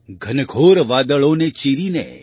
ઘનઘોર વાદળોને ચીરીને